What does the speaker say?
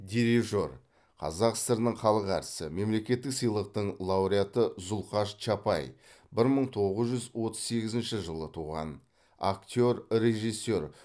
дирижер қазақ сср інің халық әртісі мемлекеттік сыйлықтың лауреаты зұлхаш чапай бір мың тоғыз жүз отыз сегізінші жылы туған актер режиссер